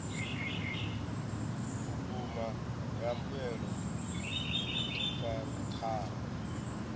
vhukuma ya mbuelo dzo khwathaho